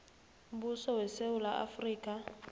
mbuso wesewula afrika